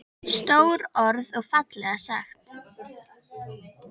Stór orð og fallega sagt.